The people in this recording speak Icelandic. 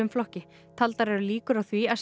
flokki taldar eru líkur á því að